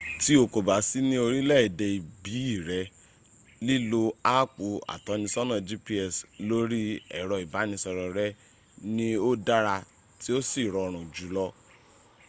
tí o kò bá sí ní orílẹ̀ èdè ìbí rẹ̀ lílo áàpu atọ́nisọ́nà gps lórí ẹ̀rọ ìbánisọ̀rọ̀ rẹ ni ó dára tí ó sì rọrùn jùlọ